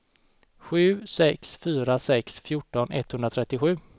sju sex fyra sex fjorton etthundratrettiosju